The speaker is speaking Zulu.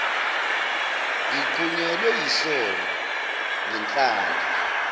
ngiqhunyelwe yisondo ngenhlanhla